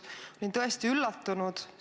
Ma olin tõesti üllatunud.